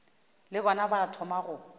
le bona ba thoma go